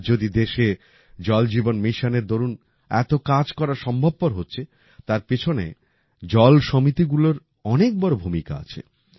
আজ যদি দেশে জল জীবন মিশনএর দরুন এত কাজ করা সম্ভবপর হচ্ছে তার পিছনে জল সমিতিগুলোর অনেক বড় ভূমিকা আছে